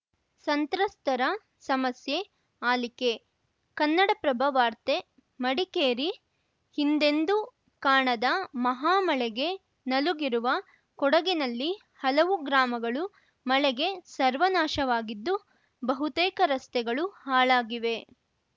ಸಂತ್ರಸ್ತರ ಸಮಸ್ಯೆ ಆಲಿಕೆ ಕನ್ನಡಪ್ರಭ ವಾರ್ತೆ ಮಡಿಕೇರಿ ಹಿಂದೆಂದೂ ಕಾಣದ ಮಹಾಮಳೆಗೆ ನಲುಗಿರುವ ಕೊಡಗಿನಲ್ಲಿ ಹಲವು ಗ್ರಾಮಗಳು ಮಳೆಗೆ ಸರ್ವನಾಶವಾಗಿದ್ದು ಬಹುತೇಕ ರಸ್ತೆಗಳು ಹಾಳಾಗಿವೆ